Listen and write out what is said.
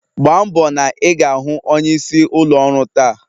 Gbambo na ị ga-ahụ onyeisi ụlọ ọrụ taa!